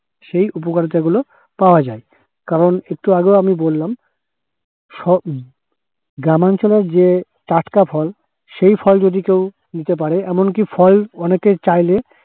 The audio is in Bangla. সেই উপকারিতাগুলো পাওয়া যায় । কারণ একটু আগেও আমি বললাম সব গ্রামাঞ্চলে যে টাটকা ফল, সেই ফল যদি কেউ নিতে পরে এমনকি ফল অনেকে চাইলে